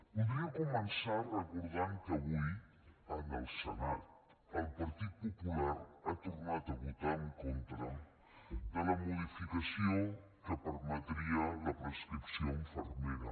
voldria començar recordant que avui en el senat el partit popular ha tornat a votar en contra de la modificació que permetria la prescripció infermera